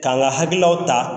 K'an ka hakililaw ta.